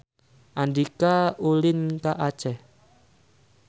Andika ulin ka Aceh